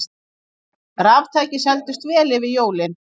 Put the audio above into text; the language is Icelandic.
Raftæki seldust vel fyrir jólin